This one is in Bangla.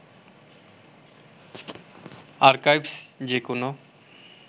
আর্কাইভস যে কোনো